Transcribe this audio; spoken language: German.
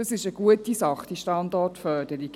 das ist eine gute Sache – diese Standortförderung.